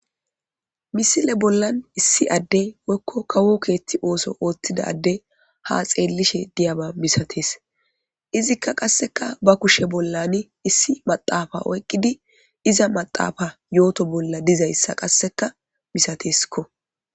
misile bollan issi adde wekko kawo keethti ooso ooththidade ha xeellishe diyama misatees izikka qasseka ba kushe bollan issi maxaafa oyqqidi iza maxaafa yooto bolla dizayssa qasseka misateskko